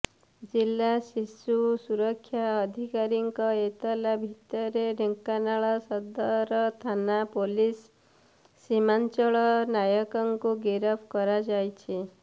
ଜିଲ୍ଲା ଶିଶୁ ସୁରକ୍ଷା ଅଧିକାରୀଙ୍କ ଏତଲା ଭିତ୍ତିରେ ଢେଙ୍କାନାଳ ସଦର ଥାନା ପୁଲିସ୍ ସୀମାଞ୍ଚଳ ନାୟକଙ୍କୁ ଗିରଫ କରାଯାଇଛି